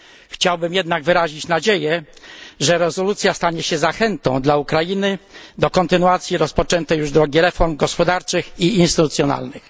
Chciałbym jednak wyrazić nadzieję, że rezolucja stanie się zachętą dla Ukrainy do kontynuacji rozpoczętej już drogi reform gospodarczych i instytucjonalnych.